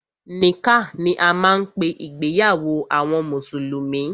Nikkah ni a máa ń pé ìgbéyàwó àwọn mùsùlùmí.